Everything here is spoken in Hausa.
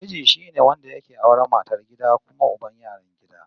Miji shine wanda yake auran matar gida kuma uban yaran gida